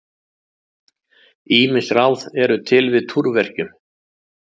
Ýmis ráð eru til við túrverkjum.